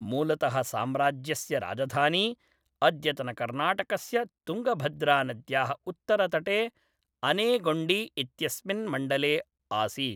मूलतः साम्राज्यस्य राजधानी अद्यतनकर्णाटकस्य तुङ्गभद्रानद्याः उत्तरतटे अनेगोण्डी इत्यस्मिन् मण्डले आसीत्।